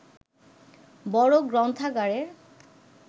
বড় গ্রন্থাগারের